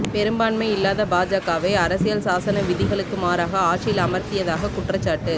பெரும்பான்மை இல்லாத பாஜகவை அரசியல் சாசன விதிகளுக்கு மாறாக ஆட்சியில் அமர்த்தியதாகக் குற்றச்சாட்டு